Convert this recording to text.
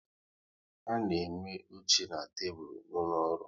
A na enwe oche na tebụl n'ụlọ ọrụ